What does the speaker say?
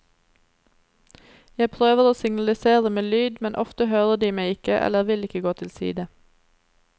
Jeg prøver å signalisere med lyd, men ofte hører de meg ikke eller vil ikke gå til side.